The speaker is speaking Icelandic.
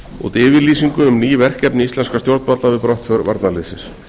út yfirlýsingu um ný verkefni íslenskra stjórnvalda við brottför varnarliðsins